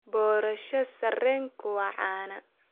Boorash sarreenku waa caan.